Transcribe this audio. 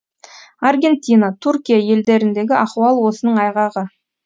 аргентина түркия елдеріндегі ахуал осының айғағы